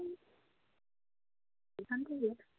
এখান থেকে